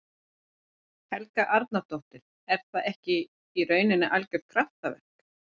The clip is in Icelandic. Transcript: Helga Arnardóttir: Og er það ekki í rauninni algjört kraftaverk?